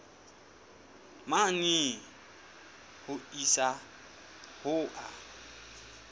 mane ho isa ho a